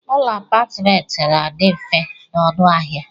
Ụlọ apatment na adi mfe na ọnụ ahia.